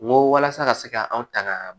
N ko walasa ka se ka anw tanga